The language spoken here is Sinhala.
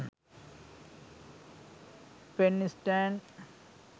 pen stand